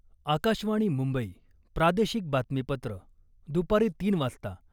आकाशवाणी मुंबई प्रादेशिक बातमीपत्र दुपारी तीन वाजता